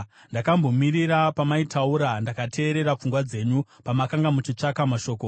Ndakambomirira pamaitaura, ndakateerera pfungwa dzenyu; pamakanga muchitsvaka mashoko,